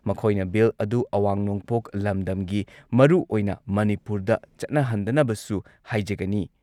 ꯃꯈꯣꯏꯅ ꯕꯤꯜ ꯑꯗꯨ ꯑꯋꯥꯡ ꯅꯣꯡꯄꯣꯛ ꯂꯝꯗꯝꯒꯤ ꯃꯔꯨꯑꯣꯏꯅ ꯃꯅꯤꯄꯨꯔꯗ ꯆꯠꯅꯍꯟꯗꯅꯕꯁꯨ ꯍꯥꯢꯖꯒꯅꯤ꯫